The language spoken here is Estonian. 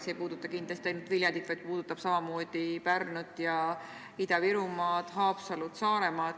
See ei puuduta kindlasti ainult Viljandit, vaid samamoodi ka Pärnut ja Ida-Virumaad, Haapsalu ja Saaremaad.